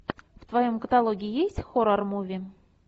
в твоем каталоге есть хоррор муви